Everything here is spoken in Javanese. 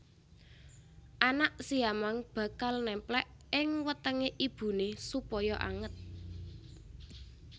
Anak siamang bakal némplék ing wetengé ibuné supaya anget